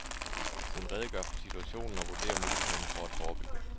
Hun redegør for situationen og vurderer mulighederne for at forebygge.